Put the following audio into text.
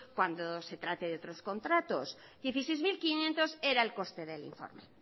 cuando se trate de otros contratos dieciseis mil quinientos era en coste del informe